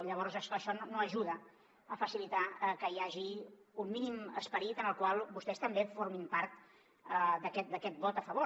llavors és clar això no ajuda a facilitar que hi hagi un mínim esperit en el qual vostès també formin part d’aquest vot a favor